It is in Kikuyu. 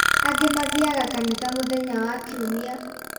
Angĩ mathiaga kanitha mũthenya wa kiumia